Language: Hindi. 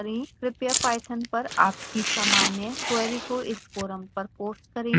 कृपया पाइथन पर आपकी सामान्य क्वेरी को इस फोरम पर पोस्ट करें